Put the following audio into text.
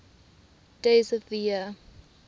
days of the year